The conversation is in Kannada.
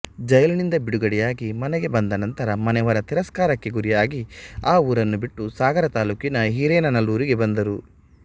ಜೈಲಿನಿಂದ ಬಿಡುಗಡೆಯಾಗಿ ಮನೆಗೆ ಬಂದ ನಂತರ ಮನೆಯವರ ತಿರಸ್ಕಾರಕ್ಕೆ ಗುರಿಯಾಗಿ ಆ ಊರನ್ನು ಬಿಟ್ಟು ಸಾಗರ ತಾಲೂಕಿನ ಹಿರೇನಲ್ಲೂರಿಗೆ ಬಂದರು